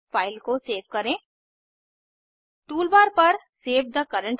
spoken tutorial project team spoken tutorials का उपयोग करके कार्यशालाएं चलाती है